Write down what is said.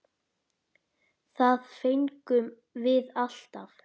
Það fengum við alltaf.